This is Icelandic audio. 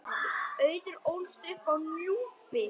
Auður ólst upp á Núpi.